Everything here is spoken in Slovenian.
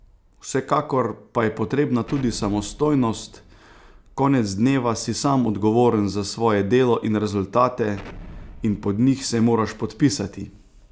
Vsekakor pa je potrebna tudi samostojnost, konec dneva si sam odgovoren za svoje delo in rezultate in pod njih se moraš podpisati!